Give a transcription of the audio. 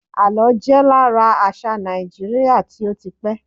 àlọ jé lára àṣà Naijiria ti o ti pẹ